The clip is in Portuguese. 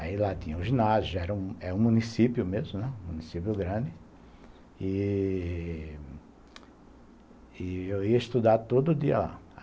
Aí lá tinha o ginásio, era era um município mesmo, né, município grande, e... e... eu ia estudar todo dia lá.